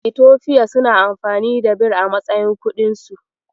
Itofiya suna amfani da Bir a matsayin kuɗinsu.